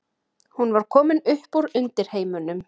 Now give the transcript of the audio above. Hún var komin upp úr undirheimunum.